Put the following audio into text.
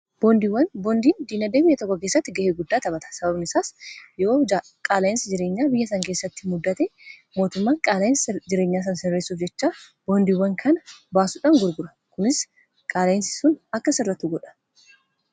Boondiiwwan boondiin diinagdee biyya tokko keessatti ga'ee guddaa taphata. sababani isaas yoo qaala'insi jireenyaa biyya sana keessatti mudate mootummaan qaala'insa jireenyaa sana sirreessuuf jechaa boondiiwwan kana baasuudhaan gurgura kunis qaala'insi sun akka sirratuu godha.